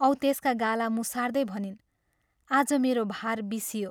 औ त्यसका गाला मुसार्दै भनिन्, "आज मेरो भार बिसियो।